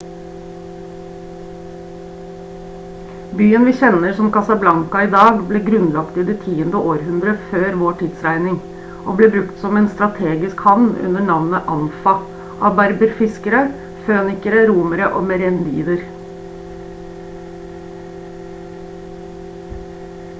byen vi kjenner som casablanca i dag ble grunnlagt i det tiende århundre før vår tidsregning og ble brukt som en strategisk havn under navnet anfa av berberfiskere fønikerne romere og merenider